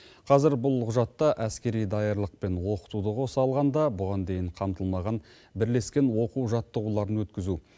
қазір бұл құжатта әскери даярлық пен оқытуды қоса алғанда бұған дейін қамтылмаған бірлескен оқу жаттығуларын өткізу